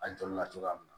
A jolila cogoya min na